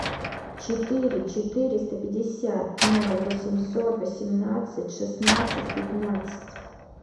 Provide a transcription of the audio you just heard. четыре четыреста пятьдесят ноль восемьсот восемнадцать шестнадцать пятнадцать